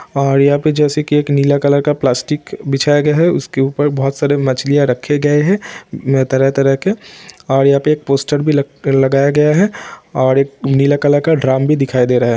और यहाँ जैसा की एक नीला कलर का प्लास्टिक बिछाया गया है उसके ऊपर बहुत सारी मछलियाँ रखे गए है तरह तरह के और यहाँ पर एक पोस्टर भी लगया गया है और एक नीले कलर का ड्रम भी दिखाई दे रहा है।